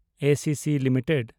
ACC limited